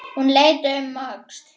Hún leit um öxl.